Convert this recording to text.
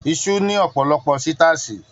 Isu ni ọpọlọpọ sitaasi.